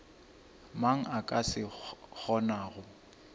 mang a ka se kgonago